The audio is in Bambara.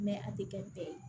a tɛ kɛ bɛɛ ye